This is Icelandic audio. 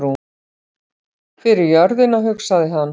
Fyrir jörðina, hugsaði hann.